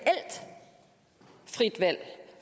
frit valg